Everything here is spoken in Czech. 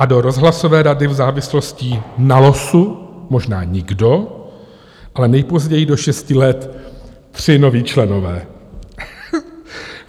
A do rozhlasové rady v závislostí na losu možná nikdo, ale nejpozději do šesti let tři noví členové.